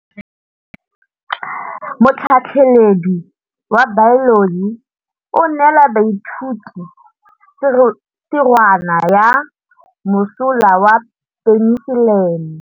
Motlhatlhaledi wa baeloji o neela baithuti tirwana ya mosola wa peniselene.